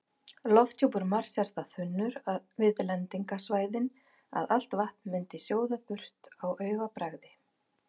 Lofthjúpur Mars er það þunnur við lendingarsvæðin að allt vatn myndi sjóða burt á augabragði.